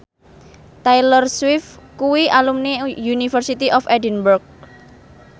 Taylor Swift kuwi alumni University of Edinburgh